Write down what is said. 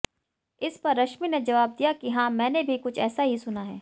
इस पर रश्मि ने जवाब दिया कि हां मैंने भी कुछ ऐसा ही सुना है